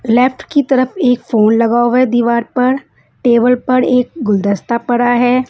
Left की तरफ एक फोन लगा हुआ है दीवार पर टेबल पर एक गुलदस्ता पड़ा है।